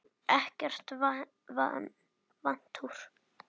Ekki vantrú.